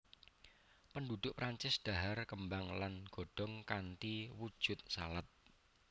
Penduduk Prancis dhahar kembang lan godhong kanthi wujud salad